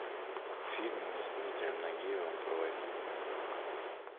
фильм с дмитрием нагиевым про войну